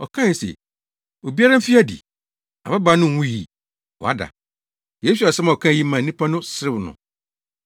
ɔkae se, “Obiara mfi adi. Ababaa no nwui. Wada!” Yesu asɛm a ɔkae yi maa nnipa no serew no.